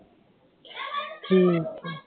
ਠੀਕ